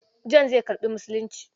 John zai karɓi Musulunci.